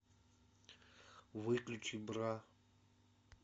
выключи бра